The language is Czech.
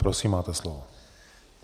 Prosím, máte slovo.